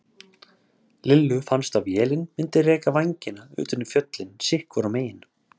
Lillu fannst að vélin myndi reka vængina utan í fjöllin sitt hvorum megin.